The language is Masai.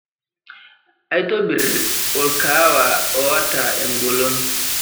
aitobir orkaawa oata engolon